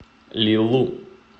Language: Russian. лилу